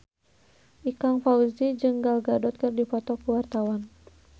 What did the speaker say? Ikang Fawzi jeung Gal Gadot keur dipoto ku wartawan